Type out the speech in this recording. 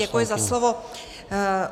Děkuji za slovo.